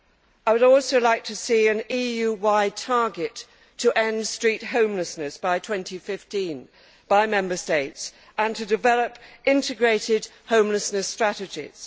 I would also like to see an EU wide target to end street homelessness by 2015 by Member States, and to develop integrated homelessness strategies.